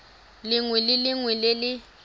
lengwe le lengwe le le